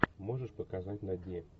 можешь показать на дне